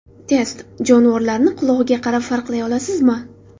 Test: Jonivorlarni qulog‘iga qarab farqlay olasizmi?.